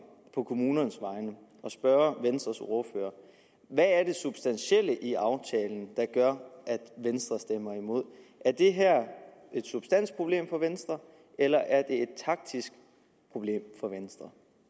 på kommunernes vegne at spørge venstres ordfører hvad er det substantielle i aftalen der gør at venstre stemmer imod er det er et substansproblem for venstre eller er det et taktisk problem for venstre